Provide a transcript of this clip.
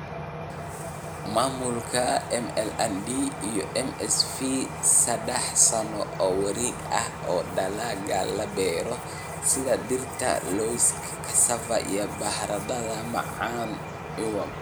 "Maamulka MLND iyo MSV sadah sano oo wareeg ah oo dalagga la beero sida, digirta, lawska, cassava, baradhada macaan iwm.